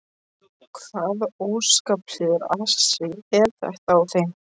Hvaða óskaplegur asi er þetta á þeim.